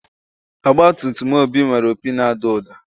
Ọgbatumtum Obi nwere opi na-ada ụda.